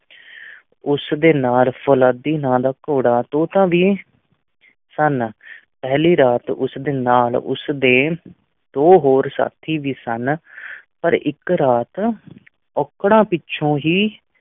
ਉਸ ਦੇ ਨਾਲ ਫ਼ੌਲਾਦੀ ਨਾਂ ਦਾ ਘੋੜਾ ਤੋਤਾ ਵੀ ਸਨ ਪਹਿਲੀ ਰਾਤ ਉਸ ਦੇ ਨਾਲ ਉਸਦੇ ਦੋ ਹੋਰ ਸਾਥੀ ਵੀ ਸਨ ਪਰ ਇੱਕ ਰਾਤ ਔਕੜਾਂ ਪਿੱਛੋਂ ਹੀ